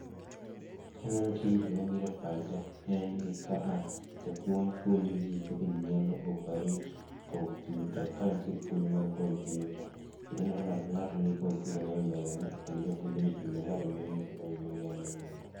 Kaneno tijni to gima biro e pacha en ni kaa, japuonj puonjo jii kaka jii nyalo operate komyuta. Ka nitie puonj mar kompyuta.Ng'ech aneno ka ng'ato ka ng'ato nigi kompyuta ne e mbele ne kendo japuonj bende ochung' mbele ka to miyo ji kaka onego